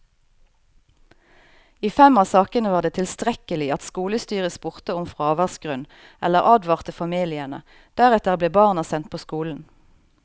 I fem av sakene var det tilstrekkelig at skolestyret spurte om fraværsgrunn eller advarte familiene, deretter ble barna sendt på skolen.